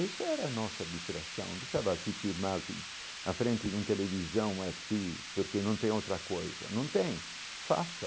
Isso era a nossa distração, precisava se firmar que na frente de um televisão assim, porque não tem outra coisa, não tem, faça.